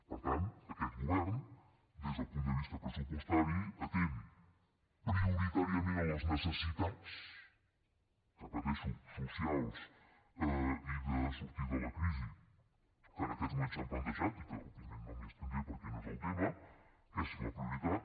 per tant aquest govern des del punt de vista pressupostari atén prioritàriament les necessitats ho repeteixo socials i de sortida de la crisi que en aquests moments s’han plantejat i que òbviament no m’hi estendré perquè no és el tema que és la prioritat